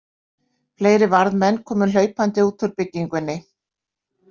Fleiri varðmenn komu hlaupandi út úr byggingunni.